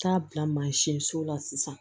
Taa bila mansin so la sisan